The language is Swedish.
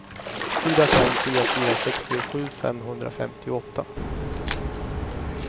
fyra fem fyra fyra sextiosju femhundrafemtioåtta